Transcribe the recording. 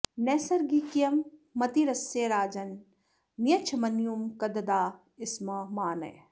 नैसर्गिकीयं मतिरस्य राजन् नियच्छ मन्युं कददाः स्म मा नः